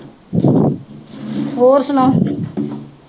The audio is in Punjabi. ਹੋਰ ਸੁਣਾਓ